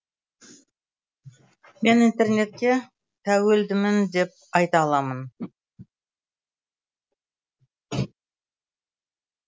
мен интернетке тәуелдімін деп айта аламын